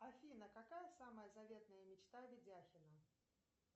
афина какая самая заветная мечта ведяхина